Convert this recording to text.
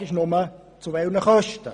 Die Frage ist nur, zu welchen Kosten.